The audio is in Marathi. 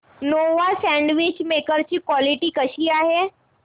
नोवा सँडविच मेकर ची क्वालिटी कशी आहे